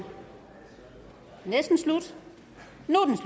slut